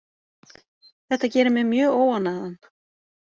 Þetta gerir mig mjög óánægðan.